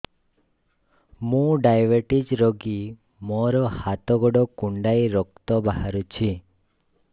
ମୁ ଡାଏବେଟିସ ରୋଗୀ ମୋର ହାତ ଗୋଡ଼ କୁଣ୍ଡାଇ ରକ୍ତ ବାହାରୁଚି